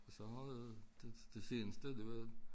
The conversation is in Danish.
Og så har jeg det det seneste det var